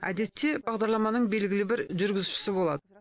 әдетте бағдарламаның белгілі бір жүргізушісі болады